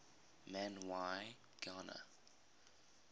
man y gana